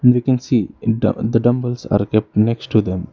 We can see the dumbbells are kept next to them.